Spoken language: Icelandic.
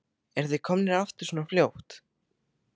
Eruð þið komnir aftur svona fljótt?